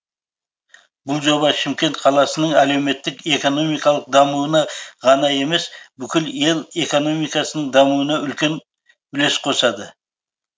бұл жоба шымкент қаласының әлеуметтік экономикалық дамуына ғана емес бүкіл ел экономикасының дамуына үлкен үлес қосады